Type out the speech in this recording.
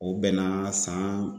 O bɛn na san